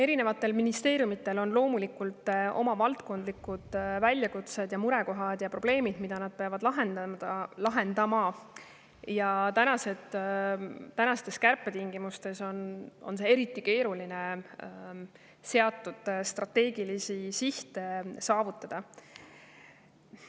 Erinevatel ministeeriumidel on loomulikult oma valdkondlikud väljakutsed ja murekohad ja probleemid, mida nad peavad lahendama, ja tänastes kärpetingimustes on eriti keeruline seatud strateegilisi sihte saavutada.